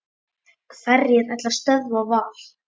Hverjir ætla að stöðva Val?